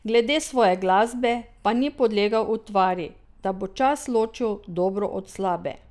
Glede svoje glasbe pa ni podlegal utvari, da bo čas ločil dobro od slabe.